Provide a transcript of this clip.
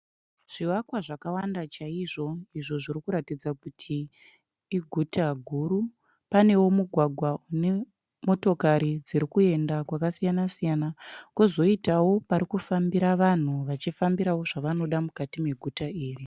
Zvivakwa zvakawanda chaizvo izvo zviri kuratidza kuti iguta guru. Pane wo mugwagwa une motokari dziri kuenda kwasiyana siyana. Kozoitawo pari kufambira vanhu ,vachifambirawo zvavanoda mukati meguta iri.